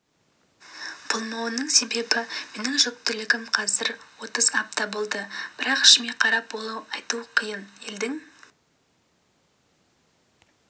болмауымның себебі менің жүктілігім қазір отыз апта болды бірақ ішіме қарап олай айту қиын елдің